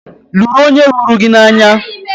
Lụrụ onye hụrụ gị n'anya!